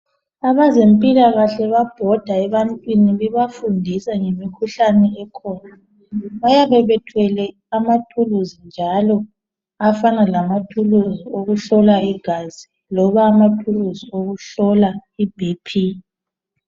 Abezempilakahle bayabhoda ebantwini bebafundisa ngemikhuhlane ekhona bayabe bethwele amathuluzi njalo afana lamathuluzi okuhlola igazi loba amathuluzi okuhlola iBP